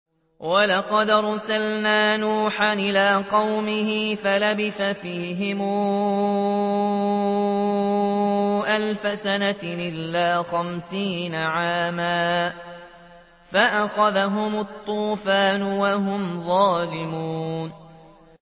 وَلَقَدْ أَرْسَلْنَا نُوحًا إِلَىٰ قَوْمِهِ فَلَبِثَ فِيهِمْ أَلْفَ سَنَةٍ إِلَّا خَمْسِينَ عَامًا فَأَخَذَهُمُ الطُّوفَانُ وَهُمْ ظَالِمُونَ